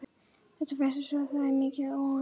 Þetta fréttist og það er mikil óánægja.